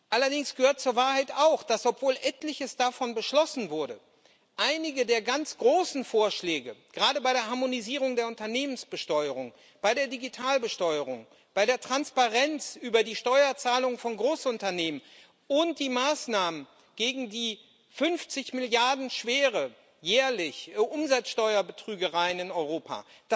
Allerdings gehört zur Wahrheit auch, dass, obwohl etliches davon beschlossen wurde, einige der ganz großen Vorschläge gerade bei der Harmonisierung der Unternehmensbesteuerung, bei der Digitalbesteuerung, bei der Transparenz über die Steuerzahlungen von Großunternehmen und die Maßnahmen gegen die 50 Milliarden schweren jährlichen Umsatzsteuerbetrügereien in Europa